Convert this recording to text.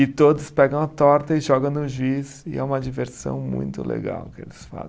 E todos pegam a torta e jogam no juíz e é uma diversão muito legal que eles fazem.